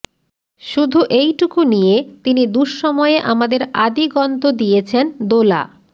শুধু এইটুকু নিয়ে তিনি দুঃসময়ে আমাদের আদিগন্ত দিয়েছেন দোলা